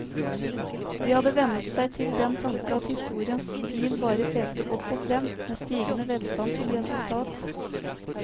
De hadde vennet seg til den tanke at historiens pil bare pekte opp og frem, med stigende velstand som resultat.